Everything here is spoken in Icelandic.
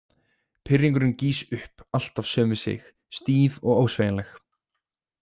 Pirringurinn gýs upp, alltaf söm við sig, stíf og ósveigjanleg.